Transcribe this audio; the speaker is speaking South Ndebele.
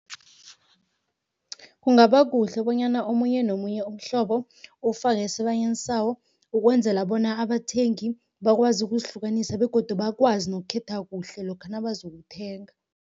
Kungaba kuhle bonyana omunye nomunye umhlobo ufakwe esibayeni sawo, ukwenzela bona abathengi bakwazi ukuzihlukanisa begodu bakwazi nokukhetha kuhle lokha nabazokuthenga.